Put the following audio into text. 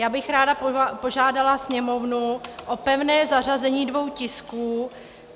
Já bych ráda požádala Sněmovnu o pevné zařazení dvou tisků.